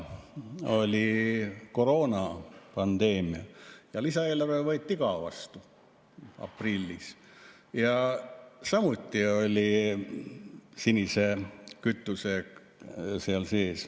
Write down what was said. Oli koroonapandeemia, lisaeelarve võeti vastu aprillis, ja seal oli samuti sinine kütus sees.